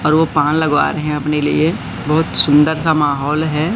और वो पान लगवा रहे हैं अपने लिए बहुत सुंदर सा माहौल है।